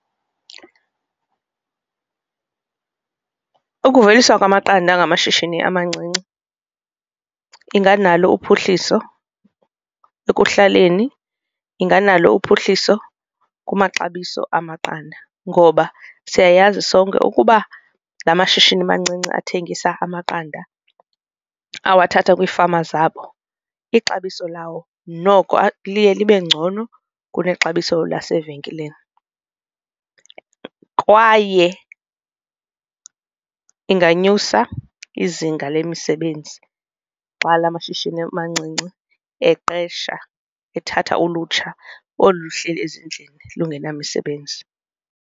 Ukuveliswa kwamaqanda ngamashishini amancinci inganalo uphuhliso ekuhlaleni inganalo uphuhliso kumaxabiso amaqanda ngoba siyayazi sonke ukuba la mashishini mancinci athengisa amaqanda awathatha kwiifama zabo. Ixabiso lawo noko liye libe ngcono kunexabiso lasevenkileni, kwaye inganyusa izinga lemisebenzi xa la mashishini mancinci eqesha ethatha ulutsha olu luhleli ezindlini lungenamisebenzi.